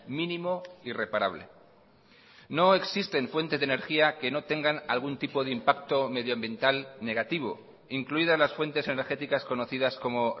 mínimo y reparable no existen fuentes de energía que no tengan algún tipo de impacto medioambiental negativo incluidas las fuentes energéticas conocidas como